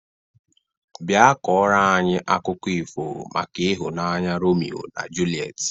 Bịa kọrọ anyị akụkọ ifo maka ịhụnanya Romio na Julet!